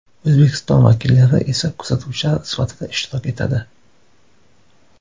O‘zbekiston vakillari esa kuzatuvchilar sifatida ishtirok etadi.